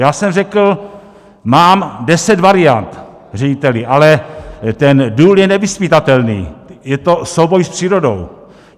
Já jsem řekl: mám deset variant, řediteli, ale ten důl je nevyzpytatelný, je to souboj s přírodou.